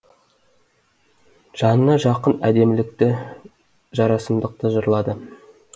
жанына жақын әдемілікті жарасымдықты жырлады